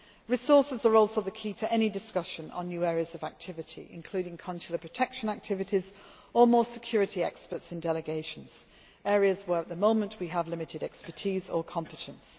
ground. Resources are also the key to any discussion on new areas of activity, including consular protection activities or more security experts in delegations areas where at the moment we have limited expertise or competence.